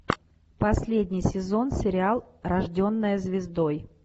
последний сезон сериал рожденная звездой